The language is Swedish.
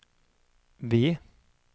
V